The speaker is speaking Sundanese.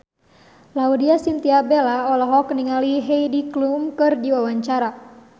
Laudya Chintya Bella olohok ningali Heidi Klum keur diwawancara